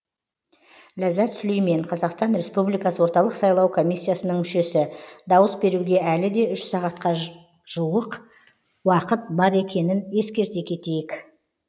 ләззат сүлеймен қазақстан республикасы орталық сайлау комиссиясының мүшесі дауыс беруге әлі де үш сағатқа жуық уақыт бар екенін ескерте кетейік